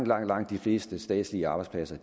langt langt de fleste statslige arbejdspladser